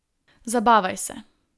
Zabavaj se.